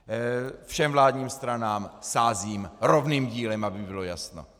Všem vládním stranám sázím rovným dílem, aby bylo jasno.